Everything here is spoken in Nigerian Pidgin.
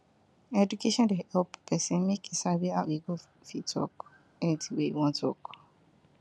education dey help pesin make e sabi how e go fit talk anything wey e wan talk